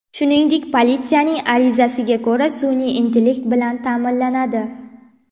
Shuningdek, politsiyaning arizasiga ko‘ra, sun’iy intellekt bilan ta’minlanadi.